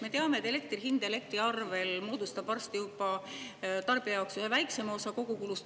Me teame, et elektri hind elektriarvel moodustab tarbija jaoks ühe väiksema osa kogukulust.